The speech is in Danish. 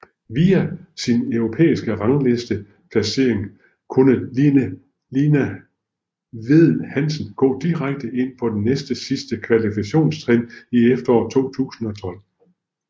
Via sin europæiske rangliste placering kunne Line Vedel Hansen gå direkte ind på det næst sidste kvalifikationstrin i efteråret 2012